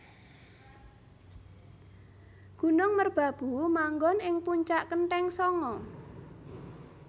Gunung merbabu manggon ing puncak kenthéng sanga